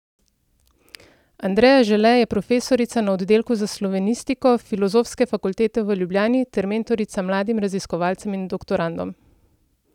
Andreja Žele je profesorica na oddelku za slovenistiko Filozofske fakultete v Ljubljani ter mentorica mladim raziskovalcem in doktorandom.